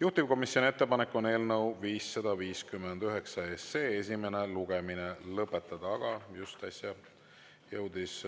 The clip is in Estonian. Juhtivkomisjoni ettepanek on eelnõu 559 esimene lugemine lõpetada, aga just äsja jõudis